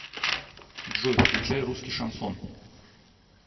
джой включай русский шансон